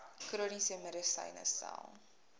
chroniese medisyne tel